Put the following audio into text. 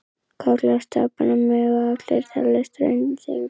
Kollar stapanna mega allir teljast hraundyngjur.